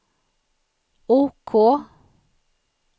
OK